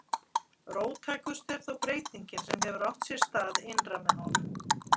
Róttækust er þó breytingin sem hefur átt sér stað innra með honum